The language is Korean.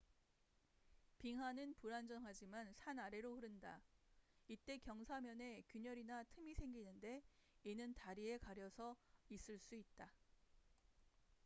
빙하는 불안정하지만 산 아래로 흐른다 이때 경사면에 균열이나 틈이 생기는데 이는 다리에 가려져 있을 수 있다